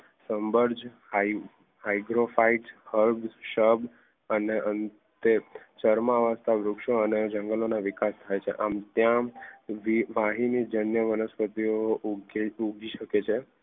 hydrophyte herbs shrub અને અંતે કરમાતા વૃક્ષો અને જંગલના વિકાસ આમ થી આમ વનસ્પતિઓ ઉગી શકે છે